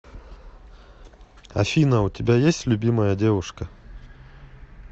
афина у тебя есть любимая девушка